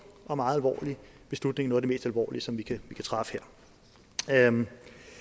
og meget alvorlig beslutning noget af det mest alvorlige som vi kan træffe her man